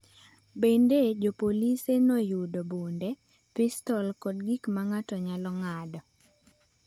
Bende, jopolisi noyudo bunde, pistol kod gik ma ng’ato nyalo ng’ado.